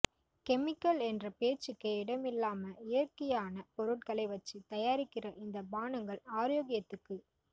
chemical என்ற பேச்சுக்கே இடமில்லாம இயற்கையான பொருட்களை வச்சுத் தயாரிக்கிற இந்த பானங்கள் ஆரோக்கியத்துக்கு